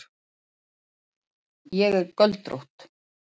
Ég er göldrótt.